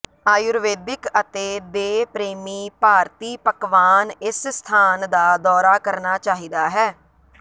ਆਯੂਰਵੈਦਿਕ ਅਤੇ ਦੇ ਪ੍ਰੇਮੀ ਭਾਰਤੀ ਪਕਵਾਨ ਇਸ ਸਥਾਨ ਦਾ ਦੌਰਾ ਕਰਨਾ ਚਾਹੀਦਾ ਹੈ